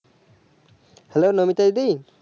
hello Nobita the